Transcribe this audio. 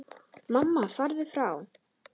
Mamma: Farðu frá!